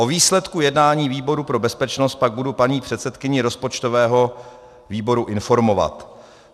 O výsledku jednání výboru pro bezpečnost pak budu paní předsedkyni rozpočtového výboru informovat.